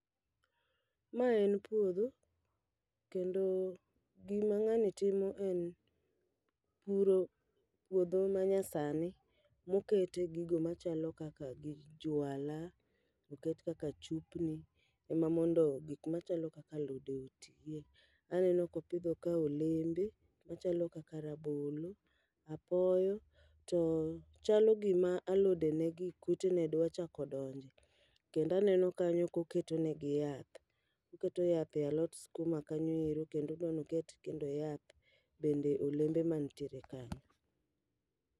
Ma en puodho, kendo gima ng'ani timo en puro puodho ma nyasani mokete gigo machalo kaka gi juala, oket kaka chupni. Ema mondo gik machalo kaka alode otiye, aneno kopidho ka olembe. Machalo kaka rabolo, apoyo, to chalo gima alode ne gi kute ne dwa chako donje. Kendaneno kanyo koketonegi yath oketo yath e alot skuma kanyo ero kendo odwanoket kendo yath bende olembe mantiere kanyo.